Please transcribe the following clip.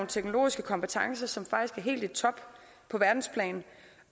teknologiske kompetencer som faktisk er helt i top på verdensplan